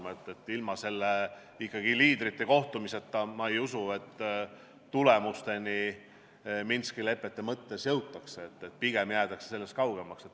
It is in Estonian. Ma ei usu, et ilma sellise liidrite kohtumiseta Minski lepete mõttes tulemusele jõutakse, pigem jäädakse sellest kaugemale.